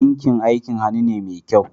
Ɗinki aikin hannu ne mai kyau